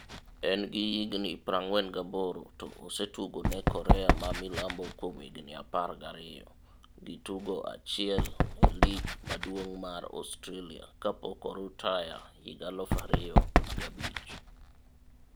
En gi higni 48 to ose tugo ne Korea Ma milambo kuom higni 12 gi tugo achiel e lig maduong' mar Australia kapok orutaya higa 2005.